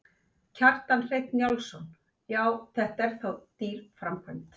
Kjartan Hreinn Njálsson: Já, þetta er þá dýr framkvæmd?